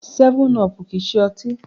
7up kìí ṣe ọtí.